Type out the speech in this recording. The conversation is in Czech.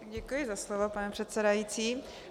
Děkuji za slovo, pane předsedající.